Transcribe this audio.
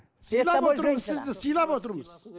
сыйлап отырмыз